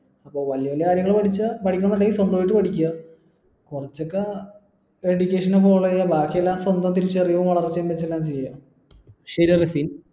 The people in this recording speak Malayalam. വലിയ വലിയ കാര്യങ്ങൾ പഠിച്ചാ പഠിക്കുന്നുണ്ടെങ്കി സ്വന്തമായിട്ട് പഠിക്കാ കുറച്ചൊക്കെ education follow ചെയ ബാക്കിയെല്ലാം സ്വന്തം തിരിച്ചറിവും വളർച്ചയും വെച്ചെന്നെ ചെയ